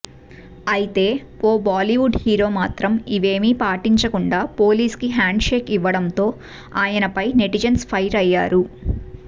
అయితే ఓ బాలీవుడ్ హీరో మాత్రం ఇవేమీ పాటించకుండా పోలీస్కి షేక్ హ్యాండ్ ఇవ్వడంతో ఆయనపై నెటిజన్స్ ఫైర్ అయ్యారు